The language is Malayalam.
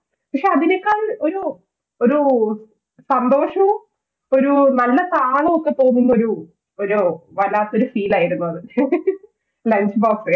പക്ഷെ അതിനേക്കാൾ ഒരു സന്തോഷവും ഒരു നല്ല താളവുമൊക്കെ തോന്നുന്ന ഒരു വല്ലാത്തൊരു Feel ആയിരുന്നു അത് Lunch box സെ